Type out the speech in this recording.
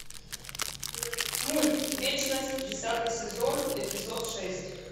мульт вечность десятый сезон эпизод шесть